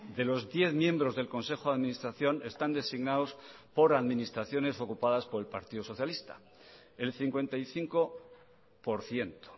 de los diez miembros del consejo de administración están designados por administraciones ocupadas por el partido socialista el cincuenta y cinco por ciento